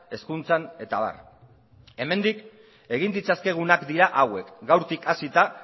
hezkuntzan eta abar hemendik egin ditzazkegunak dira hauek gaurtik hasita